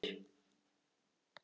Þessar nöðrur!